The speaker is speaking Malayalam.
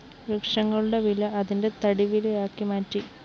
വൃക്ഷങ്ങളുടെ വില അതിന്റെ തടിവിലയാക്കി മാറ്റി